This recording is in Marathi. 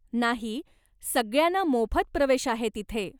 नाही, सगळ्यांना मोफत प्रवेश आहे तिथे.